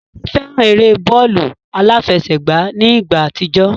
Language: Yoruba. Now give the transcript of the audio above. Tádé fẹ́ran eré bọ́ọ̀lù aláfẹsẹ̀gbá ní ìgbà àtijọ́